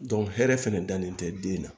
hɛrɛ fɛnɛ dalen tɛ den na